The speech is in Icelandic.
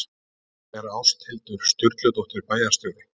Hvar er Ásthildur Sturludóttir bæjarstjóri?